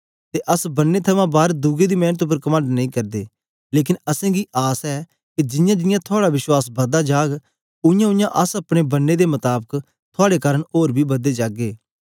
ते अस बन्ने थमां बार दुए दी मेंनत उपर कमंड नेई करदे लेकन असेंगी आस ऐ के जियांजियां थुआड़ा विश्वास बददा जाग उयांउयां अस अपने बन्ने दे मताबक थुआड़े कारन ओर बी बददे जागे